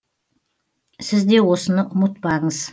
сіз де осыны ұмытпаңыз